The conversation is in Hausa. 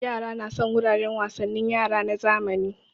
Yara na son wuraren wasannin yara na zamani